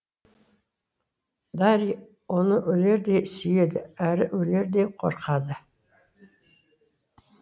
дарий оны өлердей сүйеді әрі өлердей қорқады